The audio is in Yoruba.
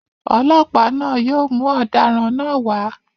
Ọlọ́pàá náà yóò mú ọ̀daràn náà wá.